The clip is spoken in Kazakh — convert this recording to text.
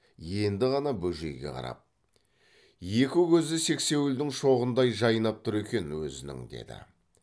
енді ғана бөжейге қарап екі көзі сексеуілдің шоғындай жайнап тұр екен өзінің деді